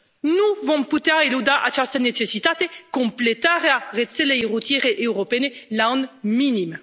nu vom putea eluda această necesitate, completarea rețelei rutiere europene la un minim.